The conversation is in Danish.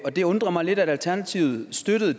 det undrer mig lidt at alternativet støttede